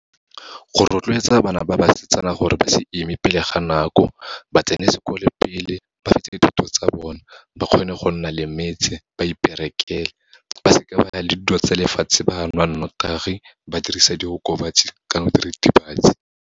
Go rotloetsa bana ba basetsana gore ba se ime pele ga nako, ba tsene sekolo pele, ba fetse dithuto tsa bona, ba kgone go nna le metse, ba iperekele, ba seka ba ya le dilo tsa lefatshe, ba nwa nnotagi, ba dirisa diokobatsi kana diritibatsi.